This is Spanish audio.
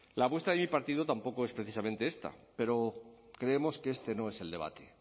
la apuesta de mi partido tampoco es precisamente esta pero creemos que este no es el debate